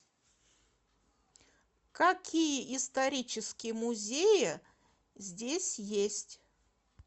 какие исторические музеи здесь есть